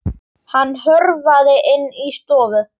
Hann hörfaði inn í stofu.